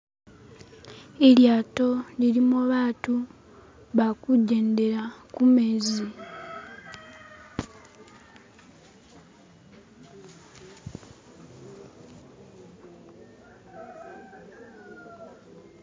ilyato lilimo batu bakujendela kumezi